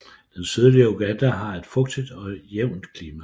Det sydlige Uganda har et fugtigt og jævnt klima